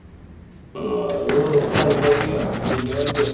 ആഹ് അത് confirm ചെയ്യാം. വല്യ വണ്ടി